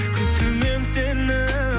күтумен сені